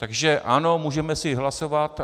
Takže ano, můžeme si hlasovat.